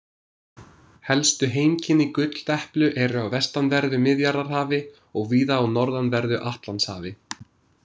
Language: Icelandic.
Helstu heimkynni gulldeplu eru á vestanverðu Miðjarðarhafi og víða á norðanverðu Atlantshafi.